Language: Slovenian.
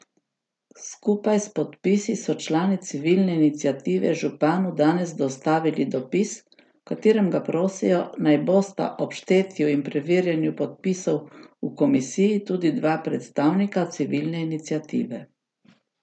Skupaj s podpisi so člani civilne iniciative županu danes dostavili dopis, v katerem ga prosijo, naj bosta ob štetju in preverjanju podpisov v komisiji tudi dva predstavnika civilne iniciative.